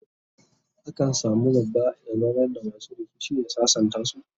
a kan samu babba ya zaunar da masu rikici ya sasantasu